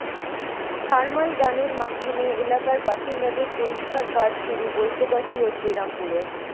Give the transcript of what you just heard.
thermal গানের মাধ্যমে এলাকার বাসিন্দাদের পরীক্ষার কাজ শুরু বৈদ্যবাটি ও শ্রীরামপুরে